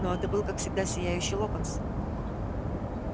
но это был как всегда сияющий локонс